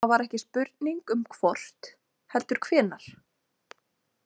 Það var ekki spurning um hvort heldur hvenær.